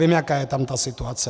Vím, jaká je tam ta situace.